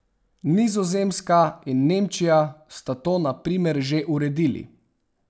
Nizozemska in Nemčija sta to na primer že uredili.